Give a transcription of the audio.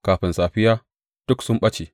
Kafin safiya, duk sun ɓace!